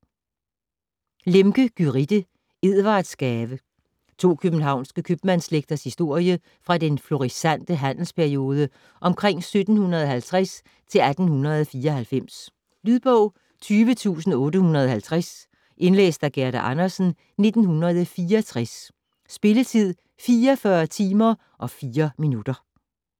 Lemche, Gyrithe: Edwardsgave To københavnske købmandsslægters historie fra den florissante handelsperiode omkring 1750 til 1894. Lydbog 20850 Indlæst af Gerda Andersen, 1964. Spilletid: 44 timer, 4 minutter.